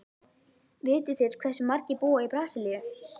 Vitið þið hversu margir búa í Brasilíu?